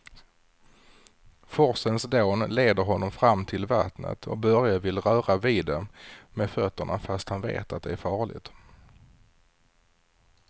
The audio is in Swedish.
Forsens dån leder honom fram till vattnet och Börje vill röra vid det med fötterna, fast han vet att det är farligt.